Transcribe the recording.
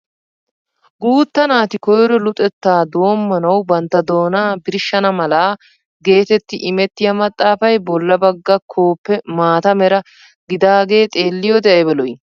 Guutta naati koyro luxettaa doommanawu bantta doonaa birshshana mala getetti imettiyaa maxaafay bolla bagga koppee maata mera gidaagee xeelliyoode ayba lo"ii!